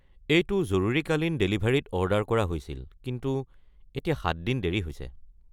এইটো জৰুৰীকালীন ডেলিভাৰীত অৰ্ডাৰ কৰা হৈছিল কিন্তু এতিয়া ৭ দিন দেৰি হৈছে।